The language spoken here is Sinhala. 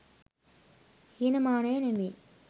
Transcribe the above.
හීන මානයො නෙවෙයි.